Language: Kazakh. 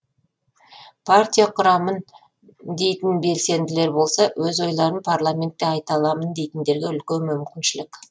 партия құрамын дейтін белсенділер болса өз ойларын парламентте айта аламын дейтіндерге үлкен мүмкіншілік